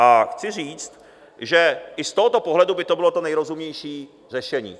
A chci říct, že i z tohoto pohledu by to bylo to nejrozumnější řešení.